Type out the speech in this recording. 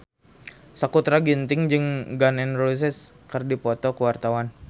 Sakutra Ginting jeung Gun N Roses keur dipoto ku wartawan